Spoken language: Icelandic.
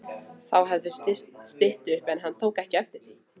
Þá hafði stytt upp en hann tók ekki eftir því.